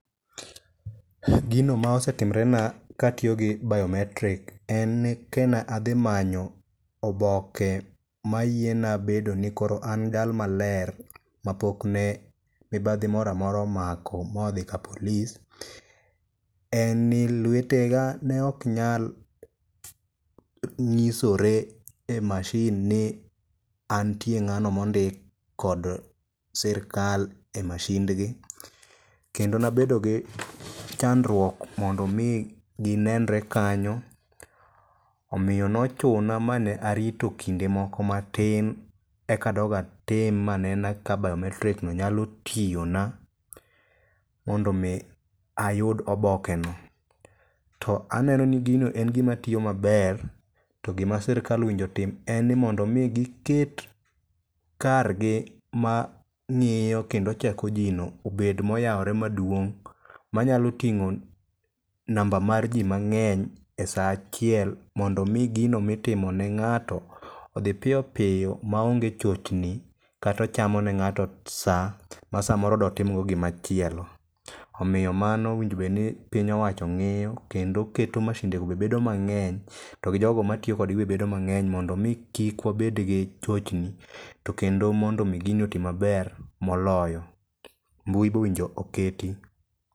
Gino ma osetimre na katiyo gi Biometric en ni ke na adhi manyo oboke ma yiena bedo ni koro an jal maler ma pokne mibadhi moramora omako modhi ka polis. En ni lwetega neok nyal ng'isore e mashin ni anitie ng'ano mondik kod sirkal e mashindgi. Kendo nabedo gi chandruok mondo mi ginenre kanyo, omiyo nochuna ma ne arito kinde moko matin e ka adog atim anena ka biometric no nyalo tiyona. Mondo mi ayud oboke no. To aneno ni gino en gima tiyo maber, to gima sirkal onego otim en ni mondo mi giket kargi ma ng'iyo kendo cheko jii no obed moyawore maduong'. Manyalo ting'o namba mar jii mang'eny e sa achiel. Mondo mi gino mitimo ne ng'ato odhi piyo piyo maonge chochni katochamo ne ng'ato sa ma samoro dotimgo gimachielo. Omiyo mano owinjo bedni piny owacho ng'iyo kendo keto mashindego be bedo mang'eny. Togi jogo matiyo kodgi be bedo mang'eny mondo mi kik wabedgi chochni, to kendo mondo mi gini oti maber moloyo. Mbui be owinjo oketi.